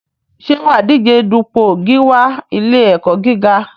Ṣé wà á díje dupò gíwá ilé-ẹ̀kọ́ gíga?